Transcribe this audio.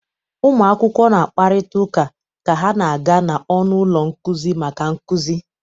Ụmụ akwụkwọ na-akparịta ụka ka ha na-aga n'ọnụ ụlọ nkuzi maka nkuzi.